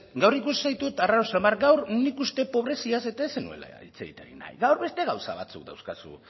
gaur ikusi zaitut arraro xamar gaur nik uste dut pobreziaz eta ez zenuela hitz egin nahi gaur beste gauza batzuk dauzkazu